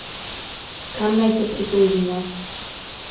Kam naj se pritožimo?